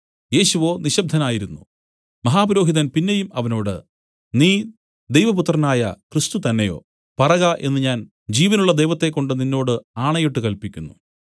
യേശുവോ നിശബ്ദനായിരുന്നു മഹാപുരോഹിതൻ പിന്നെയും അവനോട് നീ ദൈവപുത്രനായ ക്രിസ്തുതന്നെയോ പറക എന്നു ഞാൻ ജീവനുള്ള ദൈവത്തെക്കൊണ്ട് നിന്നോട് ആണയിട്ട് കൽപ്പിക്കുന്നു